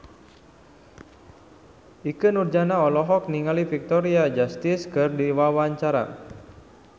Ikke Nurjanah olohok ningali Victoria Justice keur diwawancara